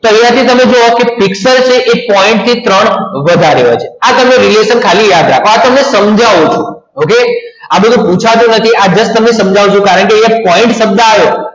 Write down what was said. અહીંયા થી તમે જુઓ કે પિક્સલ છે એ point થી ત્રણ વધારે હોય છે તમે યાદ રાખો. આ radiation તમને સમજાવું છું ઓકે આ બધું પૂછાતું નથી આ just આજે જ તમને સમજાવું છું કારણ કે અહીંયા point શબ્દ આવે